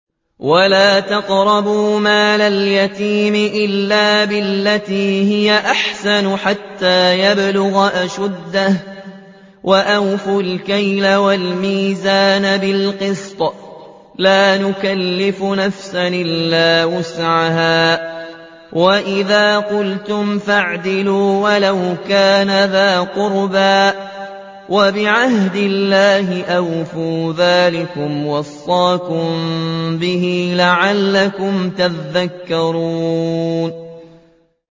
وَلَا تَقْرَبُوا مَالَ الْيَتِيمِ إِلَّا بِالَّتِي هِيَ أَحْسَنُ حَتَّىٰ يَبْلُغَ أَشُدَّهُ ۖ وَأَوْفُوا الْكَيْلَ وَالْمِيزَانَ بِالْقِسْطِ ۖ لَا نُكَلِّفُ نَفْسًا إِلَّا وُسْعَهَا ۖ وَإِذَا قُلْتُمْ فَاعْدِلُوا وَلَوْ كَانَ ذَا قُرْبَىٰ ۖ وَبِعَهْدِ اللَّهِ أَوْفُوا ۚ ذَٰلِكُمْ وَصَّاكُم بِهِ لَعَلَّكُمْ تَذَكَّرُونَ